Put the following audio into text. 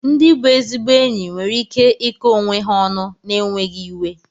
Ndị bụ ezigbo enyi nwere ike iko onwe ha ọnụ n'enweghị iwe.